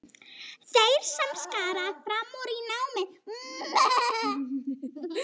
Þeir sem skara fram úr í námi.